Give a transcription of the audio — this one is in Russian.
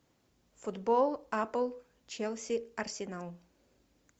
футбол апл челси арсенал